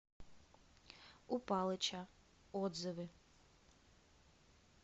у палыча отзывы